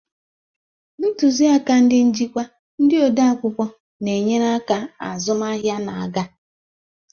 Ntuziaka ndị njikwa, ndị odeakwụkwọ na-enyere aka, azụmahịa na-aga.